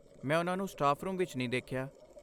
ਮੈਂ ਓਨ੍ਹਾਂ ਨੂੰ ਸਟਾਫ ਰੂਮ ਵਿੱਚ ਨਹੀਂ ਦੇਖੀਆ